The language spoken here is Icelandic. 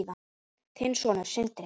Þinn sonur, Sindri.